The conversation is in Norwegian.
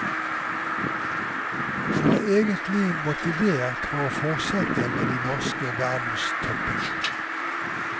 Han var egentlig motivert for å fortsette med de norske verdenstoppene.